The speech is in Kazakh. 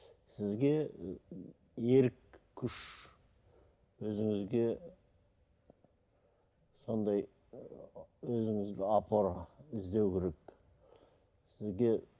сізге ы ерік күш өзіңізге сондай ы өзіңізге опора іздеу керек сізге